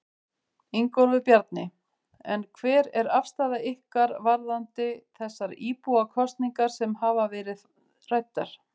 Ingólfur Bjarni: En hver er afstaða ykkar varðandi þessar íbúakosningar sem hafa verið ræddar?